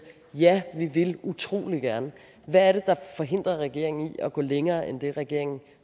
ja vi vil utrolig gerne hvad er det der forhindrer regeringen i at gå længere end det regeringen